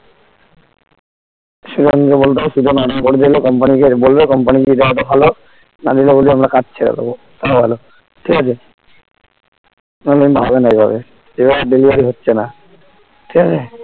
সুজন কে বলতে হবে সুজন order করে দিল কোম্পানিকে বলবে কোম্পানি এই দাদা টা ভালো মানিকদা বলছে আমরা কাজ ছেড়ে দেব তাও ভাল ঠিক আছে নাহলে হবেনা এইভাবে এইভাবে delivery হচ্ছে না ঠিক আছে